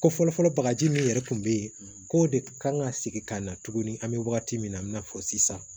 Ko fɔlɔfɔlɔ bagaji min yɛrɛ tun bɛ yen k'o de kan ka sigi ka na tuguni an bɛ wagati min na i n'a fɔ sisan